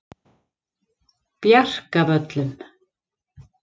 Bjarkavöllum